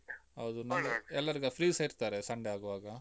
ಹೌದು, ಎಲ್ಲರಿಗೂಸ free ಸ ಇರ್ತಾರೆ, Sunday ಆಗ್ವಾಗ.